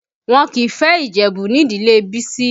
Wọn kìí fẹ́ Ìjẹ̀bú nídìlé Bisi